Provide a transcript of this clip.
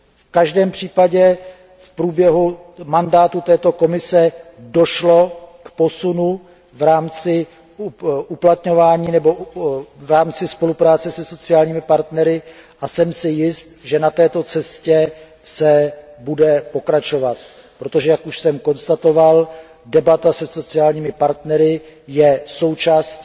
V každém případě v průběhu mandátu této komise došlo k posunu v rámci spolupráce se sociálními partnery a jsem si jist, že na této cestě se bude pokračovat, protože jak už jsem konstatoval, debata se sociálními partnery je součástí